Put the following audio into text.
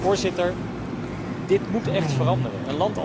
Voorzitter, dit moet echt veranderen.